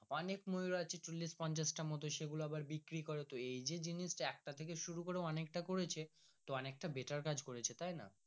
অনেক ময়ুর আছে চল্লিশ পঞ্চাশ টা মতো সে গুলো আবার বিক্রি করে তো এই জিনিস একটা থাকে শুরু করে অনেকটা করেছে তো অনেক টা better কাজ করেছে তাই না।